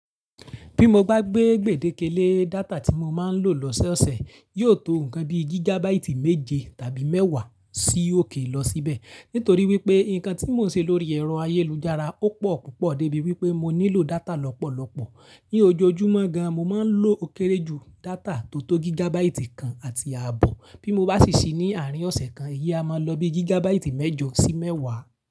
Bí mo bá gbé gbèdéke lé data tí mo máa ń lò lọ́sẹ̀ ọ̀sẹ̀, yóò tó nǹkan bí gígábáìtì méje tàbí mẹ́wàá sí òkè lọ síbẹ̀. Nítorí wípé nǹkan tí mò ń ṣe lórí ẹ̀rọ ayélujára ó pọ̀ púpọ̀ débi wípé mo nílò data lọ́pọ̀lọ́pọ̀. Ní ojoojúmọ́ gan, mo máa ń lò ó kéré jù data tó tó gígábáìtì kan àti ààbọ̀. Bí mo bá sì ṣí ní àárín ọ̀sẹ̀ kan, iyi a máa lọ bí gígábáìtì mẹ́jọ sí mẹ́wàá.